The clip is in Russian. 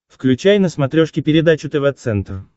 включай на смотрешке передачу тв центр